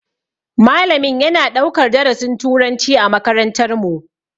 Malamin yana ɗaukar darasin turanci a makarantar mu.